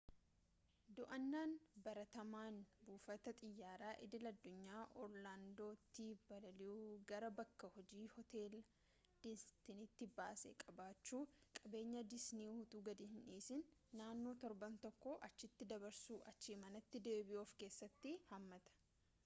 do'annaan baratamaan buufata xiyyaaraa idil-addunyaa orlaandoo'tti balali'uu gara bakka-hojii hoteela disnii'tti baasii qabachuu qabeenyaa disnii utuu gad-hin dhiisin naannoo torban tokkoo achitti dabarsuu achii manatti deebi'uu of keessatti hammata